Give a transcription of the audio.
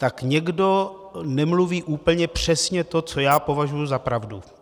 Tak někdo nemluví úplně přesně to, co já považuji za pravdu.